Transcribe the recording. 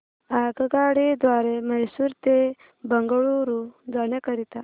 आगगाडी द्वारे मैसूर ते बंगळुरू जाण्या करीता